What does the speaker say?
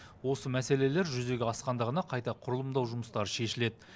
осы мәселелер жүзеге асқанда ғана қайта құрылымдау жұмыстары шешіледі